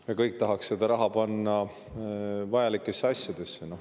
Me kõik tahaks seda raha panna vajalikesse asjadesse.